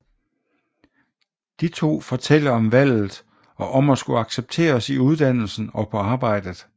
De to fortæller om valget og om at skulle accepteres i uddannelsen og på arbejdet